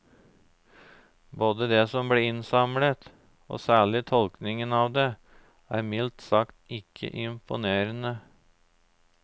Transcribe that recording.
Både det som ble innsamlet, og særlig tolkningen av det, er mildt sagt ikke imponerende.